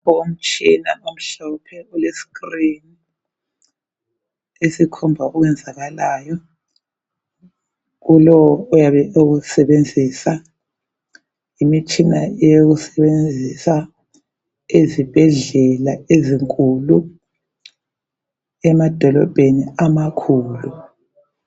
Umtshina omhlophe ulescreen esikhomba okwenzakalayo kulowo oyabe ewusebenzisa. Imitshina eyokusebenzisa ezibhedlela ezinkulu, emadolobheni amakhulu.